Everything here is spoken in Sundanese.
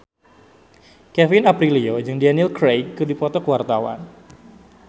Kevin Aprilio jeung Daniel Craig keur dipoto ku wartawan